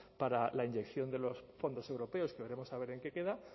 para la inyección de los fondos europeos que veremos a ver en qué queda